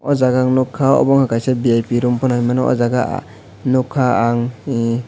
o jaga ang noh ka o bo nogka vip room pono hinoi mano o jaga nogka ang e.